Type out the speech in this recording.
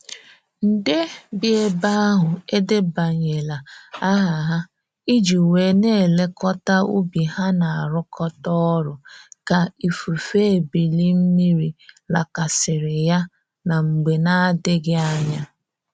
Nde bi ebe ahụ edebanyela aha ha i ji wee n'elekota ubi ha na arụkọta orụ ka ifufe ebili mmiri lakasiri ya na mgbe n'adibeghi anya.